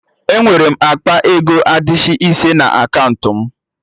Enwere m akpa ego adishị ise na akaụntụ m